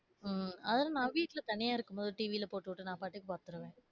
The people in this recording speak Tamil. உம் அது நான் வீட்டுல தனியா இருக்கும்போது TV ல போட்டுட்டு நாபாட்டுக்கு பாத்துருவேன்.